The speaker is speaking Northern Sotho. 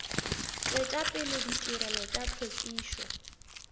tšwetša pele ditirelo tša hlwekišo